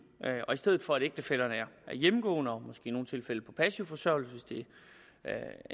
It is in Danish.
og i stedet for at ægtefællerne er hjemmegående og måske i nogle tilfælde på passiv forsørgelse hvis det er